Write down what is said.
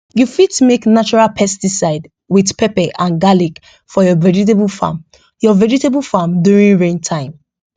you fit make natural pesticide with pepper and garlic for your vegetable farm your vegetable farm during rain time